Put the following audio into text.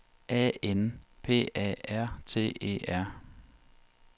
A N P A R T E R